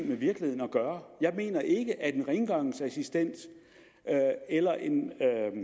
med virkeligheden at gøre jeg mener ikke at en rengøringsassistent eller en